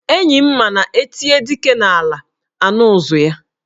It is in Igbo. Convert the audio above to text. Enyi m ma na e tie dike n'ala, a nụ ụzụ ya.